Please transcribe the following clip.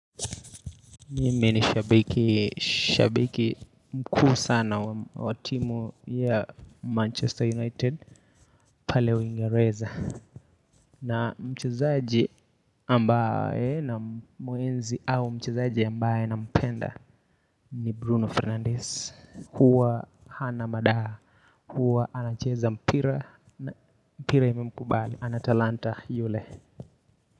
Mimi ni shabiki, shabiki mkuu sana wa wa timu ya Manchester United pale uingereza. Na mchezaji ambaye namuenzi au mchezaji ambaye nampenda ni Bruno Fernandes. Huwa hana madaha, huwa anacheza mpira, mpira ime mkubali, ana talanta yule.